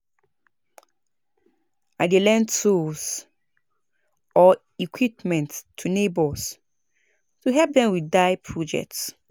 I dey lend tools or equipment to neighbors to help dem with DIY projects.